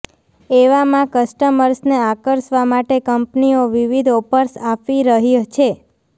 એવામાં કસ્ટમર્સને આકર્ષવા માટે કંપનીઓ વિવિધ ઑફર્સ આપી રહી છે